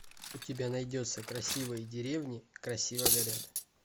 у тебя найдется красивые деревни красиво горят